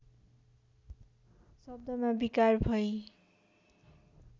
शब्दमा विकार भई